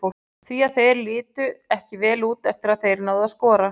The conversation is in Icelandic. Því að þeir litu ekki vel út eftir að þeir náðu að skora.